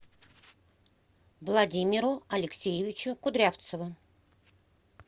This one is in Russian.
владимиру алексеевичу кудрявцеву